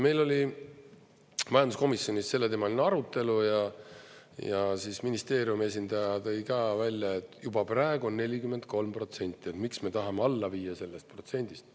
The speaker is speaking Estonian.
Meil oli majanduskomisjonis selleteemaline arutelu ja ministeeriumi esindaja tõi välja, et juba praegu on 43%, miks me tahame alla viia sellest protsendist.